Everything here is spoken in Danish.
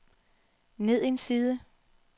ned en side